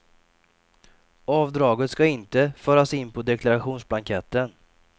Avdraget ska inte föras in på deklarationsblanketten.